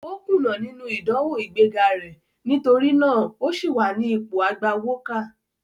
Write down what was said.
Ó kùnà nínú ìdánwò ìgbé ga rẹ̀, nítorí náà o sì wà ní ipò agbawókà.